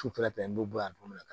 Sufɛ n be bɔ yan don min na